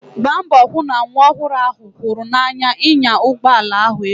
Gbaa mbọ hụ na nwa ọhụrụ ahụ hụrụ n'anya ịnya ụgbọ ala ebu.